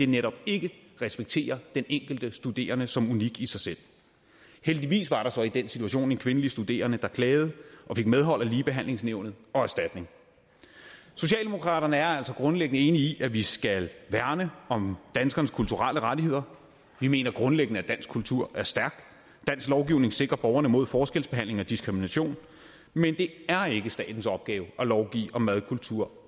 netop ikke respekterer den enkelte studerende som unik i sig selv heldigvis var der så i den situation en kvindelig studerende der klagede og fik medhold af ligebehandlingsnævnet og erstatning socialdemokraterne er altså grundlæggende enige i at vi skal værne om danskernes kulturelle rettigheder vi mener grundlæggende at dansk kultur er stærk dansk lovgivning sikrer borgerne mod forskelsbehandling og diskrimination men det er ikke statens opgave at lovgive om madkultur